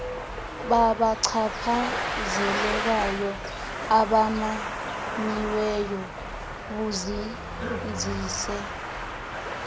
babachaphazelekayo abamanyiweyo buzinzise